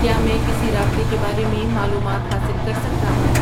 کیا میں کسی رابطے کے بارے میں معلومات حاصل کر سکتا ہوں